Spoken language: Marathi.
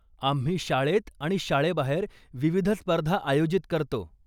आम्ही शाळेत आणि शाळेबाहेर विविध स्पर्धा आयोजित करतो.